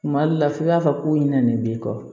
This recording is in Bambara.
Kuma dɔ la f'i b'a fɔ ko i ɲinɛ nin b'i kɔ